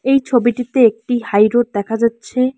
এই ছবিটিতে একটি হাইরোড দেখা যাচ্ছে।